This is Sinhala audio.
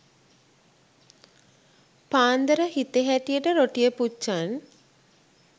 පාන්දර හිතෙ හැටියට රොටිය පුච්චන්